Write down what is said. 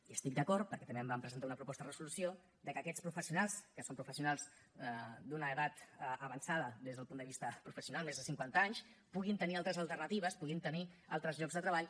i estic d’acord perquè també vam presentar una proposta de resolució que aquests professionals que són professionals d’una edat avançada des del punt de vista professional més de cinquanta anys puguin tenir altres alternatives puguin tenir altres llocs de treball